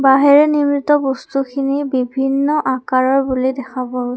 বাঁহেৰে নিৰ্মিত বস্তুখিনি বিভিন্ন আকাৰৰ বুলি দেখা পোৱা গৈ--